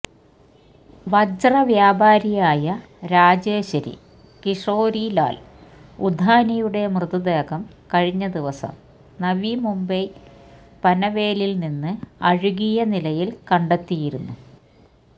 വജ്രവ്യാപാരിയായ രാജേശ്വരി കിഷോരിലാല് ഉദാനിയുടെ മൃതദേഹം കഴിഞ്ഞദിവസം നവി മുംബൈ പന്വേലില് നിന്ന് അഴുകിയ നിലയില് കണ്ടെത്തിയിരുന്നു